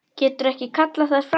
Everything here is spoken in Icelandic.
Getur ekki kallað þær fram.